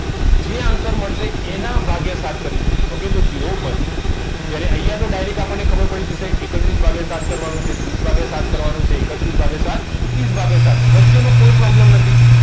જે answer મળશે એના ભાગીય સાત કરીશું okay તો zero one જ્યાં અહીંયા તો આપણને direct ખબર પડી જશે એકત્રીસ ભાગીય સાત કરવાનો છે ત્રીસ ભાગીય સાત કરવાનું છે એકત્રીસ ભાગીય સાત ત્રીસ ભાગીય સાત વચ્ચેનો કોઈ problem નથી